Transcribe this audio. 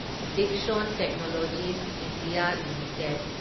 Dixon technologies India limited